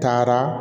Taara